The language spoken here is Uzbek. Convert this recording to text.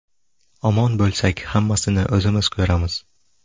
Omon bo‘lsak, hammasini o‘zimiz ko‘ramiz...